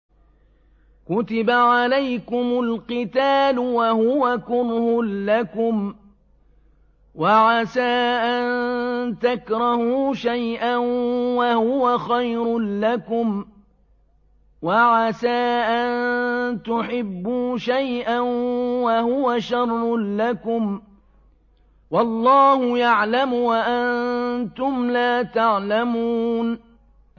كُتِبَ عَلَيْكُمُ الْقِتَالُ وَهُوَ كُرْهٌ لَّكُمْ ۖ وَعَسَىٰ أَن تَكْرَهُوا شَيْئًا وَهُوَ خَيْرٌ لَّكُمْ ۖ وَعَسَىٰ أَن تُحِبُّوا شَيْئًا وَهُوَ شَرٌّ لَّكُمْ ۗ وَاللَّهُ يَعْلَمُ وَأَنتُمْ لَا تَعْلَمُونَ